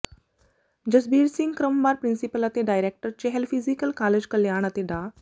ਜਸਬੀਰ ਸਿੰਘ ਕ੍ਰਮਵਾਰ ਪ੍ਰਿੰਸੀਪਲ ਅਤੇ director Chahal physical college Kalyan ਅਤੇ ਡਾ